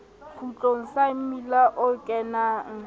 kgutlong sa mmila o kenang